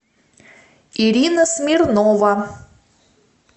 ирина смирнова